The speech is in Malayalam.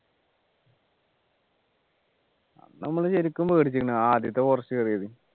അന്ന് നമ്മള് ശരിക്കും പേടിച്ചിക്ക്ന്നു ആദ്യത്തെ forest കേറിയത്